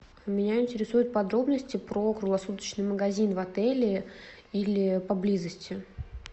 меня интересуют подробности про круглосуточный магазин в отеле или поблизости